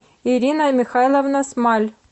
ирина михайловна смаль